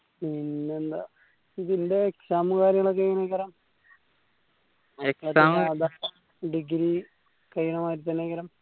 പിന്നെ എന്താ ഇപ്പോ ഇതിന്റെ exam ഉം കാര്യങ്ങളൊക്കെ എങ്ങെനെ degree കഴിയണ മാതിരി തന്നെ